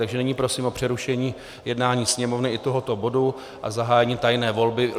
Takže nyní prosím o přerušení jednání Sněmovny i tohoto bodu a zahájením tajné volby.